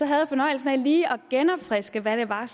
jeg fornøjelsen af lige at genopfriske hvad det var